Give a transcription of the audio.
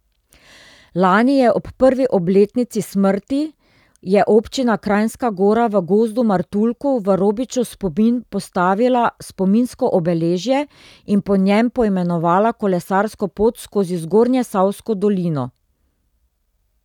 Lani je ob prvi obletnici smrti je občina Kranjska Gora v Gozdu Martuljku v Robičev spomin postavila spominsko obeležje in po njem poimenovala kolesarsko pot skozi Zgornjesavsko dolino.